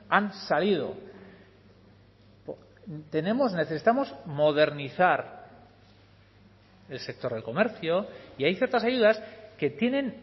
han salido tenemos necesitamos modernizar el sector del comercio y hay ciertas ayudas que tienen